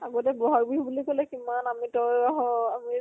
আগতে বʼহাগ বিহু বুলি কলে কিমান আমি তই আহ আমি